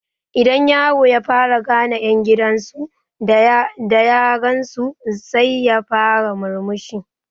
Idan yaro ya fara gane ƴan gidan su da ya gansu sai ya fara murmushi